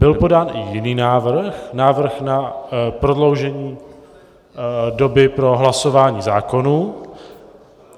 Byl podán i jiný návrh, návrh na prodloužení doby pro hlasování zákonů.